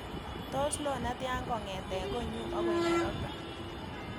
Tos loo netya kongete konnyu agoi nairobi